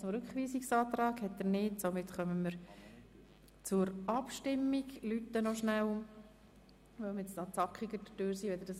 Möchte der Regierungsrat zum Rückweisungsantrag noch etwas ergänzen?